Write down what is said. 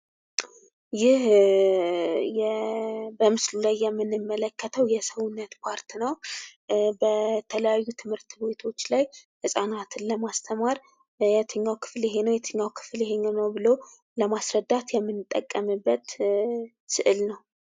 ይህ በምስሉ ላይ የምንመለከተው የሰውነት ክፍል ነው። በተለያዩ ትምህርት ቤቶች ላይ ህፃናቶችን ለማስተማር የትኛው ክፍል ይሄ ነው፤ የትኛው ክፍል ይሄ ነው ብሎ ለማስረዳት የምንጠቀምበት ስዕል ነው።